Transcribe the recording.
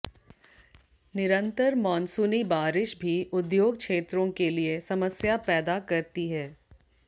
निरंतर मॉनसूनी बारिश भी उद्योग क्षेत्रों के लिए समस्या पैदा करती है